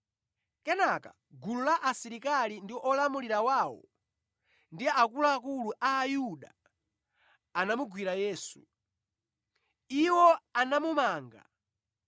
Kenaka gulu la asilikali ndi olamulira wawo ndi akuluakulu a Ayuda anamugwira Yesu. Iwo anamumanga.